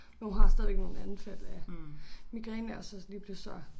Men hun har stadigvæk nogle anfald af migræne og så lige pludselig så